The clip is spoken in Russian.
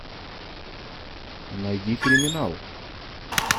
найди криминал